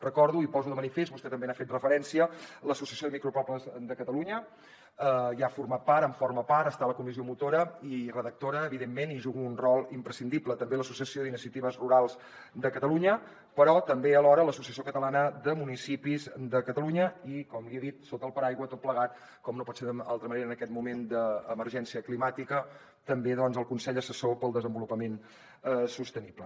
recordo i poso de manifest vostè també hi ha fet referència que l’associació de micropobles de catalunya n’ha format part en forma part està a la comissió motora i redactora evidentment i hi juga un rol imprescindible també l’associació d’iniciatives rurals de catalunya però també alhora l’associació catalana de municipis de catalunya i com li he dit sota el paraigua tot plegat com no pot ser d’altra manera en aquest moment d’emergència climàtica del consell assessor per al desenvolupament sostenible